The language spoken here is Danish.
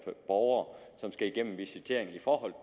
borgere som skal igennem en visitering i forhold